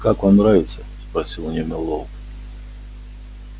как вам нравится спросил у нее мэллоу